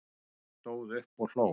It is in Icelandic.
Stóð upp og hló